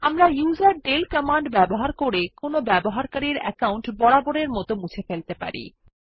আমরা userdel command ব্যবহার করে কোনো ব্যবহারকারীর অ্যাকাউন্ট বরাবরের মত মুছে ফেলতে পারি